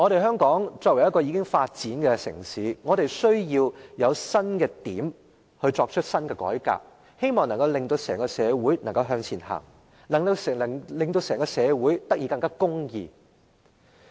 香港是一個已發展的城市，我們需要有新的改革帶領社會向前走，令社會變得更公義。